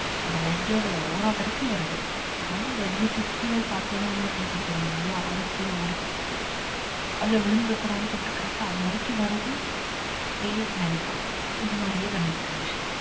அந்த ledge ஓட ஓரம் வரைக்கும் வருது ஆனா ledge க்கு கீழ பார்த்தோனோ என்ன போது பெரிய ஆறு கீழ ஓடிகிட்டு இருக்கு அதுல விழுந்துட கூடாதுன்னு சொல்லிட்டு correct டா அது வரைக்கும் வருது அப்படியே பின்னாடி போகுது இந்த மாதிரியே பண்ணிட்டு இருந்துச்சு